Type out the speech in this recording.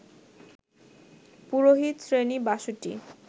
পুরোহিত-শ্রেণী ৬২